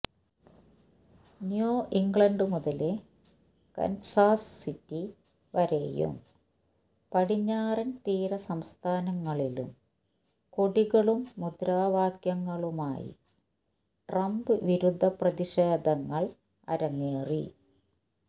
new England മുതല് Kansas City വരെയും പടിഞ്ഞാറന് തീര സംസ്ഥാനങ്ങളിലും കൊടികളും മുദ്രാവാക്യങ്ങളുമായി ട്രംപ് വിരുദ്ധ പ്രതിഷേധങ്ങള് അരങ്ങേറി